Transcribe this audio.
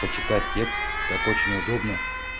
почитать текст так очень неудобно